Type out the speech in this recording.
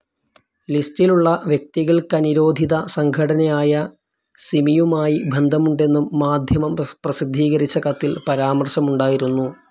ലിസ്റ്റിലുള്ള വ്യക്തികൾക്ക നിരോധിത സംഘടനയായ സിമിയുമായി ബന്ധമുണ്ടെന്നും മാധ്യമം പ്രസിദ്ധീകരിച്ച കത്തിൽ പരാമർശമുണ്ടായിരുന്നു.